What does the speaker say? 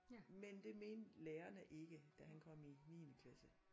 Men det mente lærerne ikke da han kom i niende klasse